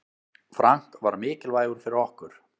Frank var mikilvægur fyrir okkur.